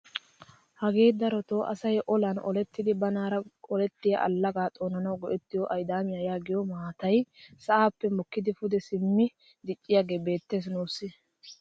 Hagee darotoo asay olaan olettidi banaara olettiyaa allagaa xoonanawu go"ettido aydaamiyaa yaagiyoo maatay sa'aappe mokkidi pude simmi dicciyaagee beettees nuusi.